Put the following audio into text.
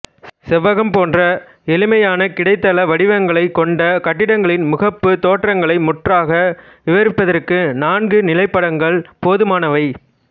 செவ்வகம் போன்ற எளிமையான கிடைத்தள வடிவங்களைக் கொண்ட கட்டிடங்களின் முகப்புத் தோற்றங்களை முற்றாக விவரிப்பதற்கு நான்கு நிலைப்படங்கள் போதுமானவை